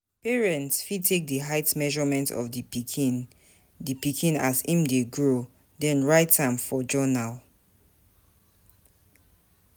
Parents fit take di height measurement of di pikin di pikin as im dey grow then write am for journal